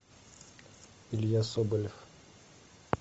илья соболев